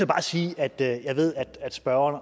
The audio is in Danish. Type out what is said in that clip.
bare sige at jeg ved at spørgeren